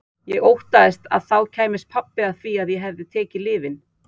Ég óttaðist að þá kæmist pabbi að því að ég hefði tekið lyfin.